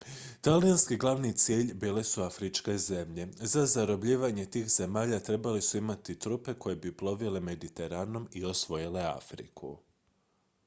talijanski glavni cilj bile su afričke zemlje za zarobljavanje tih zemalja trebali su imati trupe koje bi plovile mediteranom i osvojile afriku